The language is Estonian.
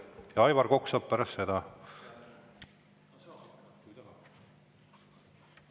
Ja Aivar Kokk saab pärast seda.